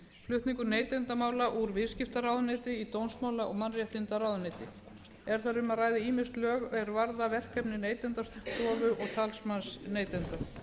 flutningur neytendamála úr viðskiptaráðuneyti í dómsmála og mannréttindaráðuneytið er þar um að ræða ýmis lög er varða verkefni neytendastofu og talsmanns neytenda